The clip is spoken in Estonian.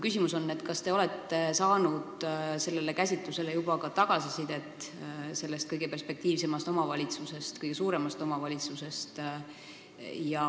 Kas te olete saanud sellele käsitlusele juba ka tagasisidet sellest kõige perspektiivsemast ja suuremast omavalitsusest?